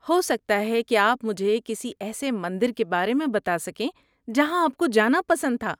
ہو سکتا ہے کہ آپ مجھے کسی ایسے مندر کے بارے میں بتا سکیں جہاں آپ کو جانا پسند تھا۔